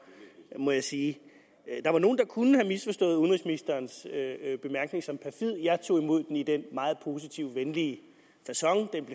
må jeg sige der var nogle der kunne have misforstået udenrigsministerens bemærkning som perfid jeg tog imod den i den meget positive venlige facon den